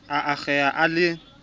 a akgeha ha a le